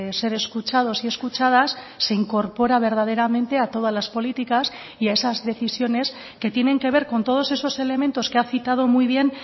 ser escuchados y escuchadas se incorpora verdaderamente a todas las políticas y a esas decisiones que tienen que ver con todos esos elementos que ha citado muy bien